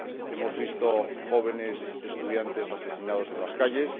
Hemos visto jóvenes estudiantes asesinados en las calles